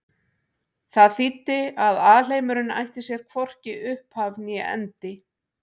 Það þýddi að alheimurinn ætti sér hvorki upphaf né endi.